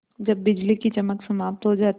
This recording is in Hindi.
जब बिजली की चमक समाप्त हो जाती है